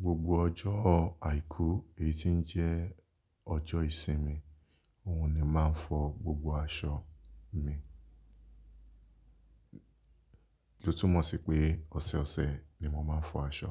Gbogbo ọjọ́ àìkú, èyí ti n jẹ́ ọjọ́ ìsinmi òun ni màá fọ gbogbo aṣọ mi. Lo túmọ̀ sí pé ọ̀sọ̀ọ̀sẹ̀ ni mo máa ń fọ aṣọ.